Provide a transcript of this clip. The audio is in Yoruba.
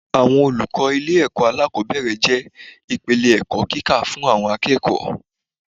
Àwọn olùkọ́ ilé ẹ̀kọ́ alákòbẹ̀rẹ̀ jẹ́ ìpìlẹ̀ ẹ̀kọ́ kíkó fún àwọn akẹ́kọ̀ọ́.